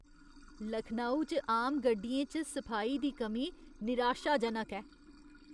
लखनऊ च आम गड्डियें च सफाई दी कमी निराशाजनक ऐ।